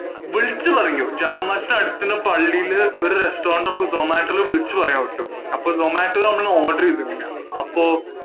വിളിച്ചു പറഞ്ഞു. ജുമാ മസ്ജിദിദ്ന്റെ അടുത്ത് ഉള്ള പള്ളിയില് ഒരു restaurant നമ്മുക്ക് zomato ഇൽ വിളിച്ചു പറയാം പറ്റും. അപ്പോ zomato ഇൽ നമ്മൾ order ചെയ്തിട്ടില്ല. അപ്പോ